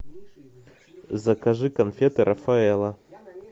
закажи конфеты рафаэлло